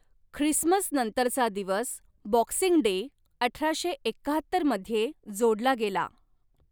Christmas नंतरचा दिवस, Boxing Day, अठराशे एक्काहत्तर मध्ये जोडला गेला.